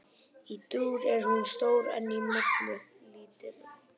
Í dúr er hún stór en í moll lítil.